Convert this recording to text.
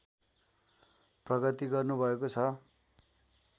प्रगति गर्नुभएको छ